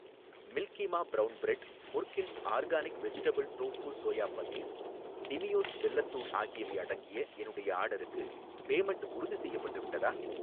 Milky மா brown bread, முர்கின்ஸ் organic vegetable tofu soya paneer, டிமியோஸ் வெல்லத் தூள் ஆகியவை அடங்கிய என்னுடைய ஆர்டர்க்கு பேமெண்ட் உறுதிசெய்யப்பட்டு விட்டதா?